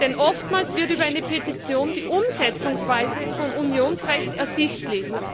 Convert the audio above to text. Denn oftmals wird über eine Petition die Umsetzungsweise von Unionsrecht ersichtlich.